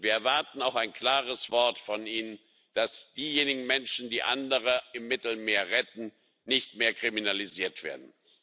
Und wir erwarten auch ein klares Wort von Ihnen, dass diejenigen Menschen, die andere im Mittelmeer retten, nicht mehr kriminalisiert werden.